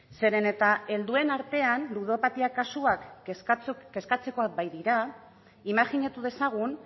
zeren eta helduen artean ludopatia kasuak kezkatzekoak badira imajinatu dezagun